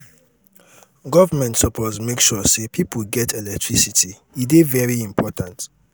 government suppose make sure sey people get electricity e dey very important.